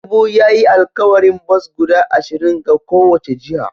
Tinubu ya yi alkawarin bas guda ashirin ga kowace jiha